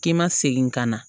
K'i ma segin ka na